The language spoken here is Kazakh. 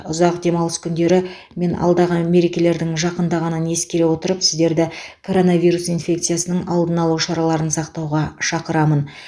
ұзақ демалыс күндері мен алдағы мерекелердің жақындағанын ескере отырып сіздерді коронавирус инфекциясының алдын алу шараларын сақтауға шақырамын